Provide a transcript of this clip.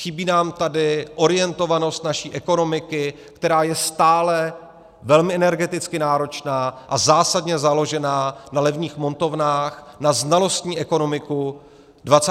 Chybí nám tady orientovanost naší ekonomiky, která je stále velmi energeticky náročná a zásadně založená na levných montovnách, na znalostní ekonomiku 21. století.